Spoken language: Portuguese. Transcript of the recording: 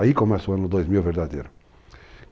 Aí começa o ano 2000 verdadeiro.